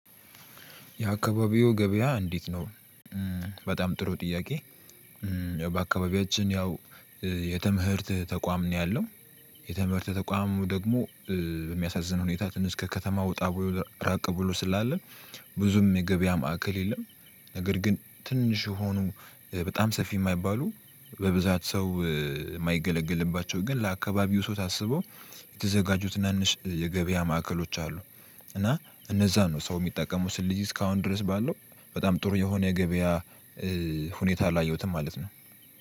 የአካባቢው ገበያ እንዴት ነው? በጣም ጥሩ ጥያቄ። በአካባቢያችን ያው የትምህርት ተቋም ነው ያለው። የትምህርት ተቋሙ ደግሞ በሚያሳዝን ሁኔታ ትንሽ ከከተማ ወጣ ወይ ራቅ ብሎ ስላለ ብዙም የገበያ ማዕከል የለም። ነገር ግን ትንሽ ሆኖ በጣም ሰፊ የማይባሉ በብዛት ሰው የማይገለግልባቸው ግን ለአካባቢው ሰው ታስበው የተዘጋጁት ትናንሽ የገበያ ማዕከሎች አሉ። እና እነዛ ነው ሰው የሚጠቀሙት ስልጅ እስካሁን ድረስ ባለው በጣም ጥሩ የሆነ ገበያ። ሁኔታ አላየሁትም ማለት ነው።